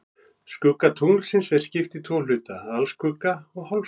Skugga tunglsins er skipt í tvo hluta, alskugga og hálfskugga.